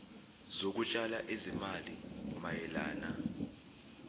zokutshala izimali mayelana